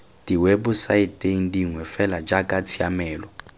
diwebosaeteng dingwe fela jaaka tshiamelo